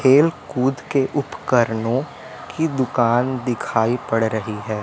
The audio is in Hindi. खेल कूद के उपकरणों की दुकान दिखाई पड़ रही है।